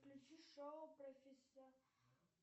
включи шоу